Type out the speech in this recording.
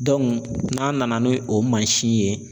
n'an nana n'o mansin ye